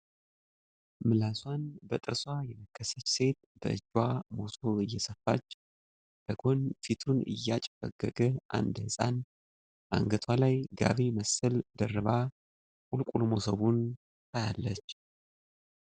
ምላሷን በጥርሷ የነከሰች ሴት በእጇ መሶብ እየሰፋች ፤ ከጎን ፊቱን ያጨፈገገ አንድ ሕፃን ፤ አንገቷ ላይ ጋቢ መሰል ደርባ ቁልቁል መሶቡን ታያለች